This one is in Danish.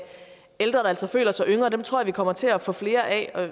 ældre der altså føler sig yngre dem tror jeg vi kommer til at få flere af